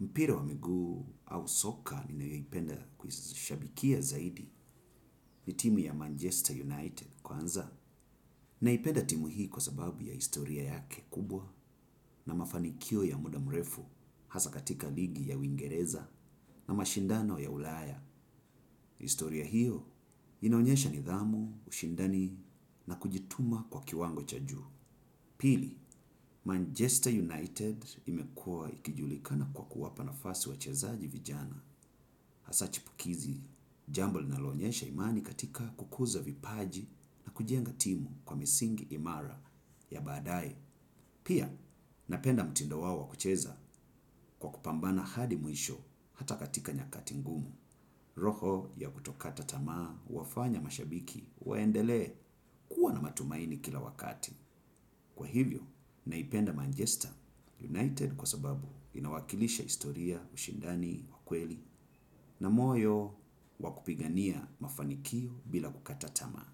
mpira wa miguu au soka ninayoipenda kuishabikia zaidi ni timu ya Manchester United kwanza. Naipenda timu hii kwa sababu ya historia yake kubwa na mafanikio ya muda mrefu hasa katika ligi ya wingereza na mashindano ya ulaya. Historia hiyo inaonyesha nidhamu, ushindani na kujituma kwa kiwango cha juu. Pili, Manchester United imekua ikijulikana kwa kuwapa nafasi wachezaji vijana. Hasa chipukizi, jambo linalo onyesha imani katika kukuza vipaji na kujenga timu kwa misingi imara ya baadaye. Pia, napenda mtindo wao wa kucheza kwa kupambana hadi mwisho hata katika nyakati ngumu. Roho ya kutokata tamaa, wafanya mashabiki, waendelee kuwa na matumaini kila wakati. Kwa hivyo, naipenda Manchester United kwa sababu inawakilisha historia, ushindani, wa kweli na moyo wakupigania mafanikio bila kukata tamaa.